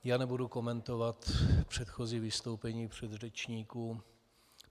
Já nebudu komentovat předchozí vystoupení předřečníků.